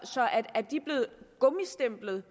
gummistemplet